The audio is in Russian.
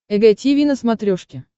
эг тиви на смотрешке